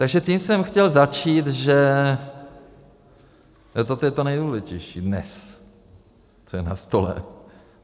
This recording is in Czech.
Takže tím jsem chtěl začít, že toto je to nejdůležitější dnes, co je na stole.